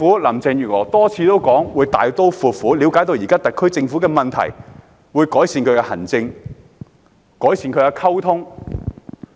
林鄭月娥多次表示會大刀闊斧地了解現時特區政府的問題，會改善其行政和溝通。